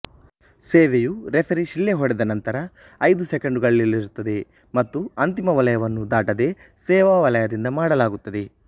ಸೇವೆಯು ರೆಫರಿ ಶಿಳ್ಳೆ ಹೊಡೆದ ನಂತರ ಐದು ಸೆಕೆಂಡುಗಳಲ್ಲಿರುತ್ತದೆ ಮತ್ತು ಅಂತಿಮ ವಲಯವನ್ನು ದಾಟದೆ ಸೇವಾ ವಲಯದಿಂದ ಮಾಡಲಾಗುತ್ತದೆ